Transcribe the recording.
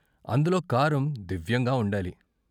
అందులో కారం దివ్యంగా వుండాలి.